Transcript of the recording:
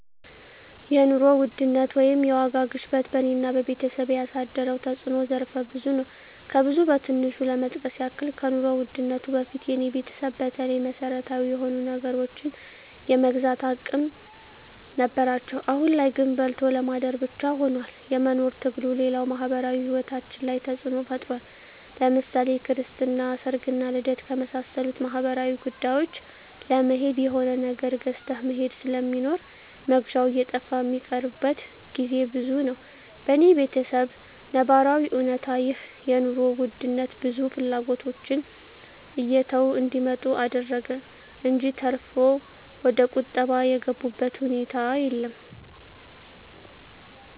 የኑሮ ውድነት ወይም የዋጋ ግሽበት በኔና በቤተሰቤ ያሳደረው ተጽኖ ዘርፈ ብዙ ነው። ከብዙ በትንሹ ለመጥቀስ ያክል ከኑሮ ውድነቱ በፊት የኔ ቤተሰብ በተለይ መሰረታዊ የሆኑ ነገሮችን የመግዛት አቅም ነበራቸው አሁን ላይ ግን በልቶ ለማደር ብቻ ሁኗል የመኖር ትግሉ፣ ሌላው ማህበራዊ ሂወታችን ላይ ተጽኖ ፈጥሯል ለምሳሌ ክርስትና፣ ሰርግና ልደት ከመሳሰሉት ማህበራዊ ጉዳዮች ለመሄድ የሆነ ነገር ገዝተህ መሄድ ስለሚኖር መግዣው እየጠፋ ሚቀሩበት ግዜ ብዙ ነው። በኔ በተሰብ ነባራዊ እውነታ ይህ የኑሮ ውድነት ብዙ ፍላጎቶችን እየተው እንዲመጡ አደረገ እንጅ ተርፎ ወደቁጠባ የገቡበት ሁኔታ የለም።